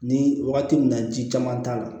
Ni wagati min na ji caman t'a la